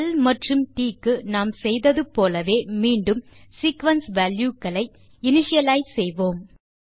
ல் மற்றும் ட் க்கு நாம் செய்தது போலவே மீண்டும் சீக்வென்ஸ் வால்யூ களை இனிஷியலைஸ் செய்வோம்